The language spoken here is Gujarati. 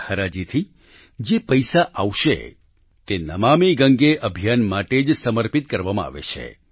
આ હરાજી થી જે પૈસા આવશે તે નમામિ ગંગે અભિયાન માટે જ સમર્પિત કરવામાં આવે છે